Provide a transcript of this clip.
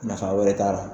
Nafa wɛrɛ t'a la